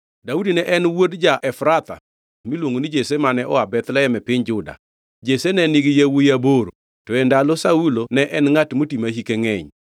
Daudi ne en wuod ja-Efrath miluongo ni Jesse mane oa Bethlehem e piny Juda. Jesse ne nigi yawuowi aboro to e ndalo Saulo ne en ngʼat moti ma hike ngʼeny.